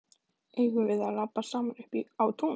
Eigum við að labba saman upp á tún?